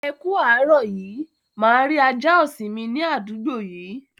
Ẹ ku árọ̀ yí. Máa rí àjà ọṣìn mì ní adúgbò yìí?